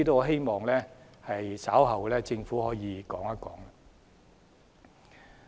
希望局長稍後能夠說一說。